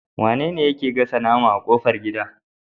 Wane yake gasa nama a kofar gida?